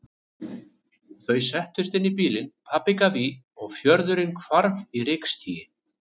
Þau settust inn í bílinn, pabbi gaf í og fjörðurinn hvarf í rykskýi.